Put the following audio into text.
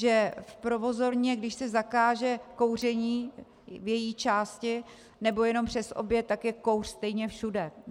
Že v provozovně, když se zakáže kouření v její části nebo jen přes oběd, tak je kouř stejně všude.